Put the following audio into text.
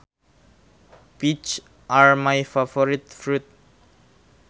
Peaches are my favorite fruit